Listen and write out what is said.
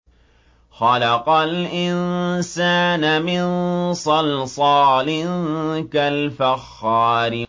خَلَقَ الْإِنسَانَ مِن صَلْصَالٍ كَالْفَخَّارِ